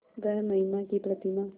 वह महिमा की प्रतिमा